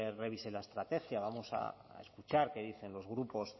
revise la estrategia vamos a escuchar qué dicen los grupos